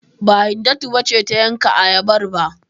Ba, Hindatu ba ce ta yanka ayabar ba?